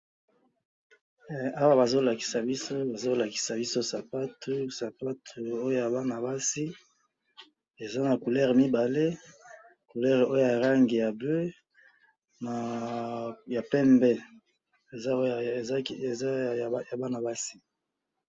Eh! Awa bazolakisa biso, bazo lakisa biso sapatu, sapatu oyo yabana basi, eza na couleur mibale, couleur ooyalangi ya bleu na pembe, eza yabana basi.